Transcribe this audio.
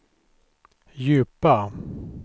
djupa